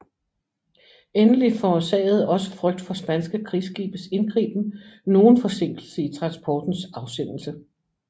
Endelig forårsagede også frygt for spanske krigsskibes indgriben nogen forsinkelse i transportens afsendelse